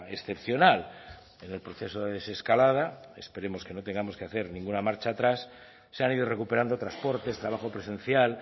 excepcional en el proceso de desescalada esperemos que no tengamos que hacer ninguna marcha atrás se han ido recuperando transportes trabajo presencial